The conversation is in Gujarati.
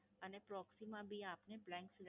અને Proxy માં બી આપને Blank સિલેક્